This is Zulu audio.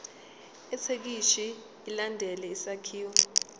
ithekisthi ilandele isakhiwo